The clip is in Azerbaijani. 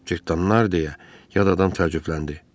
Cırtdanlar, deyə yad adam təəccübləndi.